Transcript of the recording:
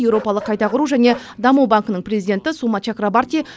еуропалық қайта құру және даму банкінің президенті сума чакрабарти